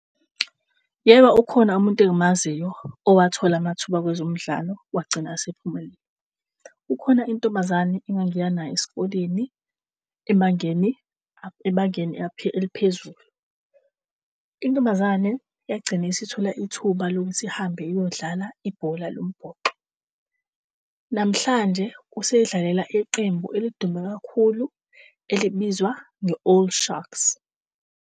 Yebo, ukhona umuntu engimaziyo owathola amathuba kwezomudlalo wagcina esephumelele. Kukhona intombazane engangiya nayo esikoleni ebangeni, ebangeni eliphezulu. Intombazane yagcina isithula ithuba lokuthi ihambe iyodlala ibhola lombhoxo. Namhlanje usedlalela iqembu elidume kakhulu elibizwa nge-Old Sharks.